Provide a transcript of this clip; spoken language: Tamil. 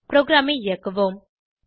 ப்ரோகிராமை இயக்குவோம்